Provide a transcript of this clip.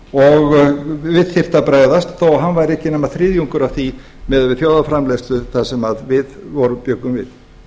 og við þyrfti að bregðast þó hann væri ekki nema þriðjungur af því miðað við þjóðarframleiðslu það sem við bjuggum við